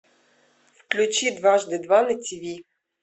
включи дважды два на тв